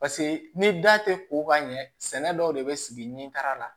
Paseke ni da tɛ ko ka ɲɛ sɛnɛ dɔw de bɛ sigi ni kar'a la